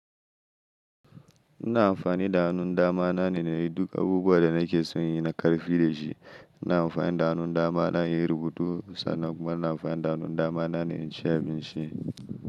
Ina amfani da hannun dama na ne na yi duka abubuwan da nake son in yi na karfi da shi. Ina amfani da hannun dama na in yi rubutu sannan kuma ina amfani da hannun dama ne in ci abinci.